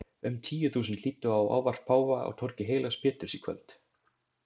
Um tíu þúsund hlýddu á ávarp páfa á torgi heilags Péturs í kvöld.